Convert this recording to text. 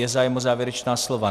Je zájem o závěrečná slova?